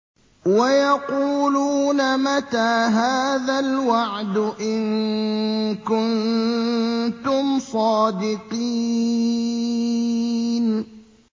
وَيَقُولُونَ مَتَىٰ هَٰذَا الْوَعْدُ إِن كُنتُمْ صَادِقِينَ